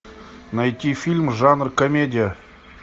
найти фильм жанр комедия